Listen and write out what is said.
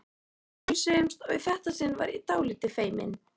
Við heilsuðumst og í þetta sinn var ég dálítið feimin.